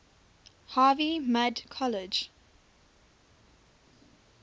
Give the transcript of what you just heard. harvey mudd college